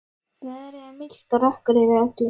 Veðrið er milt og rökkur yfir öllu.